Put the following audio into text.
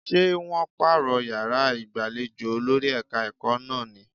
Ṣé wọ́n pààrọ̀ yàrá ìgbàlejò olórí ẹ̀ka-ẹ̀kọ́ náà ní?